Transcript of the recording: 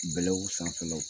Bɛlɛw sanfɛlaw